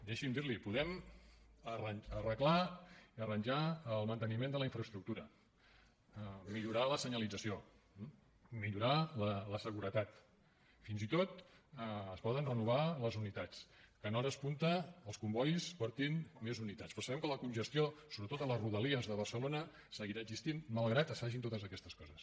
deixi’m dir li ho podem arreglar i arranjar el manteniment de la infraestructura millorar la senyalització millorar la seguretat fins i tot es poden renovar les unitats que en hores punta els combois portin més unitats però sabem que la congestió sobretot a la rodalia de barcelona seguirà existint malgrat que es facin totes aquestes coses